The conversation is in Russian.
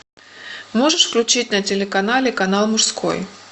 можешь включить на телеканале канал мужской